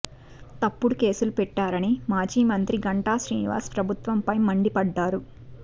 తప్పుడు కేసులు పెట్టారని మాజీ మంత్రి గంటా శ్రీనివాస్ ప్రభుత్వం పై మండిపడ్డారు